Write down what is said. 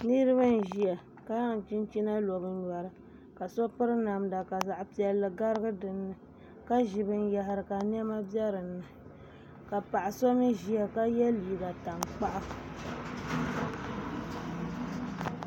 Niraba n ʒiya ka zaŋ chinchina lo bi nyori ka so piri namda ka zaɣ piɛlli garigi dinni ka ʒi binyahari ka niɛma bɛ dinni ka paɣa so mii ʒiya ka yɛ liiga tankpaɣu